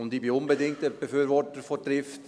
Ich bin ein unbedingter Befürworter von Trift.